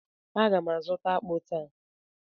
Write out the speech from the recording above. a ga m azuta akpu taa.